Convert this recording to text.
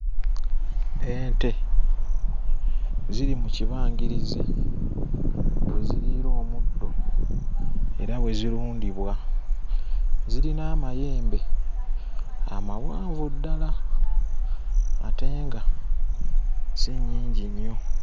Ente ziri mu kibangirizi we ziriira omuddo era we zirundibwa. Zirina amayembe amawanvu ddala ate nga si nnyingi nnyo.